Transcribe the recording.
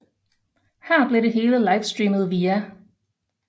Her blev det hele livestreamet via